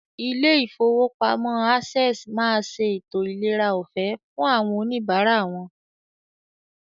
Ilé ìfowópamọ́ Access máa ṣe ètò ìlera ọ̀fẹ́ fún àwọn oníbàárà wọn.